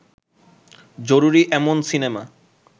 জরুরী এমন সিনেমা